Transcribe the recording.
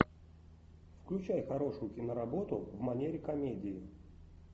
включай хорошую киноработу в манере комедии